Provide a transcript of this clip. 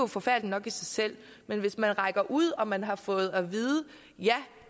forfærdeligt nok i sig selv men hvis man rækker ud og man har fået at vide ja